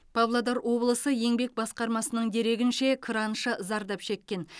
павлодар облысы еңбек басқармасының дерегінше краншы зардап шеккен